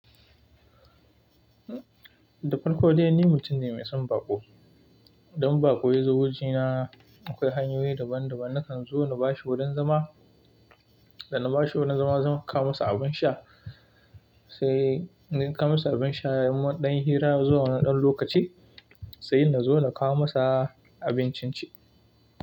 Da farko dai ni mutum ne mai son baƙo. Don baƙo ya zo wojena akoi hanyoyi daban-daban. Na kan zo na ba shi wurin zama. Da na ba shi wurin zama, zan kawo masa abun sha. Sai ni kawo masa abin sha, mun ɗan yi hira zuwa woni ɗan lokaci sai na zo na kawo masa abincin ci.